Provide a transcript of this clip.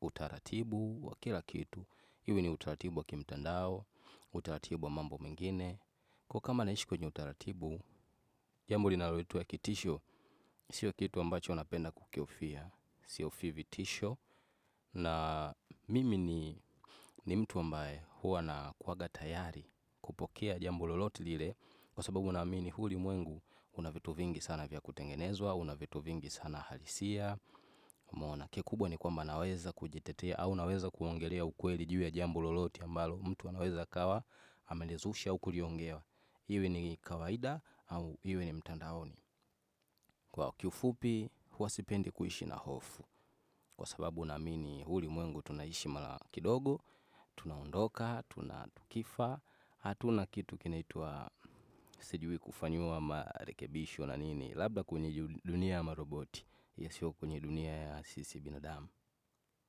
utaratibu wa kila kitu. Iwe ni utaratibu wa kimtandao. Utaratibu wa mambo mengine. Kwa hiyo kama naishi kwenye utaratibu jambo linaloitwa kitisho. Sio kitu ambacho napenda kukihofia. Sihofii vitisho. Na mimi ni mtu ambae huwa na kuwanga tayari kupokea jambo lolote lile. Kwa sababu naamini huu ulimwengu una vitu vingi sana vya kutengenezwa. Una vitu vingi sana halisia umeona kikubwa ni kwamba naweza kujitetea au naweza kuongelea ukweli juu ya jambo lolote ambalo mtu anaweza akawa amenizusha kuliongea. Iwe ni kawaida au iwe ni mtandaoni. Kwa kifupi huwa sipendi kuishi na hofu. Kwa sababu naamini huu ulimwengu tunaishi mara kidogo, tunaondoka, tuna tukifa. Hatuna kitu kinaitwa sijui kufanyiwa marekebisho na nini. Labda kwenye dunia ama roboti, yasiyo kwenye dunia ya sisi binadamu.